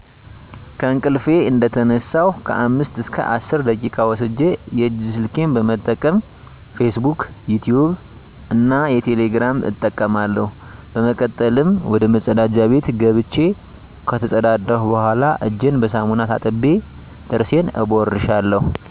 ከእንቅልፊ እንደተነሳሁ ከአምስት እስከ አስር ደቂቃ ወስጀ የእጅ ስልኬን በመጠቀም "ፊስ ቡክ" ፣"ዩቲቭ" እና "ቴሌግራም" እጠቀማለሁ። በመቀጠልም ወደመጸዳጃ ቤት ገብቸ ከተጸዳዳሁ በኋላ እጀን በሳሙና ታጥቤ ጥርሴን እቦርሻለሁ።